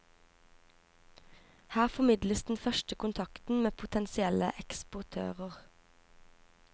Her formidles den første kontakten med potensielle eksportører.